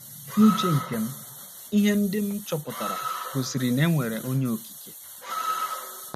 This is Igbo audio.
N’uche nke m, ihe ndị m chọpụtara gosiri na e nwere Onye Okike.